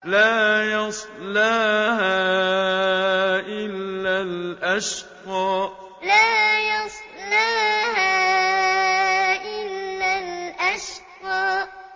لَا يَصْلَاهَا إِلَّا الْأَشْقَى لَا يَصْلَاهَا إِلَّا الْأَشْقَى